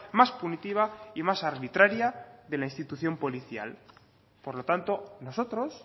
más punitiva y más arbitraria de la institución policial por lo tanto nosotros